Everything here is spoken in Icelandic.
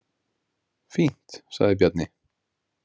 Fínt, sagði Bjarni.